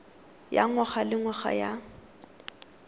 ya ngwaga le ngwaga ya